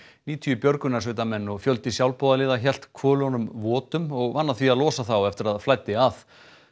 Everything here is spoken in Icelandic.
níutíu björgunarsveitarmenn og fjöldi sjálfboðaliða hélt hvölunum votum og vann að því að losa þá eftir að flæddi að